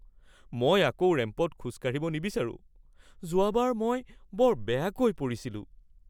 মই আকৌ ৰেম্পত খোজ কাঢ়িব নিবিচাৰোঁ। যোৱাবাৰ মই বৰ বেয়াকৈ পৰিছিলোঁ।